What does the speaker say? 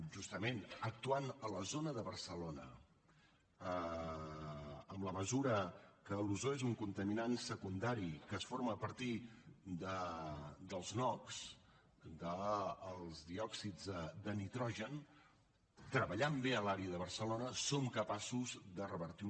justament actuant a la zona de barcelona en la mesura que l’ozó és un contaminant secundari que es forma a partir dels noòxids de nitrogen treballant bé a l’àrea de barcelona som capaços de revertir